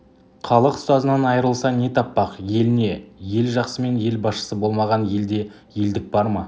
халық ұстазынан айрылса не таппақ ел не ел жақсымен ел басшысы болмаған елде елдік бар ма